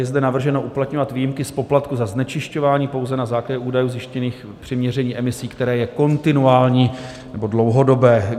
Je zde navrženo uplatňovat výjimky z poplatku za znečišťování pouze na základě údajů zjištěných při měření emisí, které je kontinuální nebo dlouhodobé.